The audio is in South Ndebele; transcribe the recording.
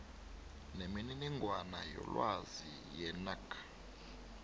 nemininingwana yelwazi yenac